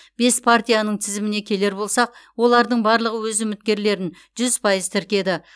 бес партияның тізіміне келер болсақ олардың барлығы өз үміткерлерін жүз пайыз тіркеді